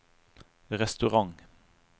restaurant